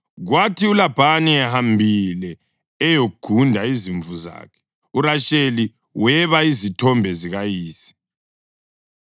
Kwathi uLabhani ehambile eyogunda izimvu zakhe, uRasheli weba izithombe zikayise.